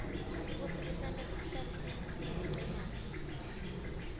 futsi kusenta sihlale siyimicemane